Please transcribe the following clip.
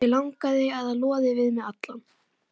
Mig langar að það loði við þig allan.